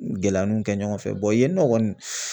Gɛlɛya nun kɛ ɲɔgɔn fɛ yen nɔ kɔni